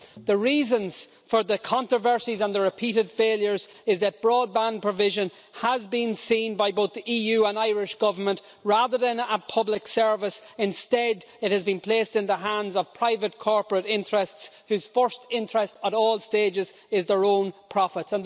The reason for the controversies and the repeated failures is that broadband provision has been seen by both the EU and the Irish Government as, rather than a public service, one which has instead been placed in the hands of private corporate interests whose first interest, at all stages, is their own profits.